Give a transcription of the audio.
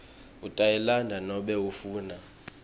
utayilandza nobe ufuna